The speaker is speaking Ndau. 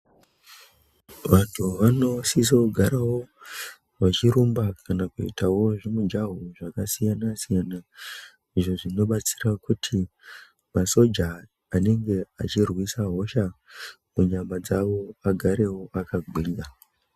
Vantu vanosiso kugaro vachirumba kanakuitawo zvimugaho zvakasiyana siyana izvo zvinobatsira kuti masoja anenge achirwisa hosha munyama dzawo agarewo akagwinya.